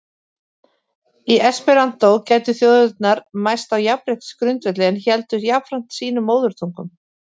Í esperantó gætu þjóðirnar mæst á jafnréttisgrundvelli- en héldu jafnframt sínum móðurtungum.